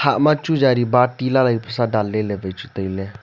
hah ma chu jari baty lalai pesa danley ley chu tailey.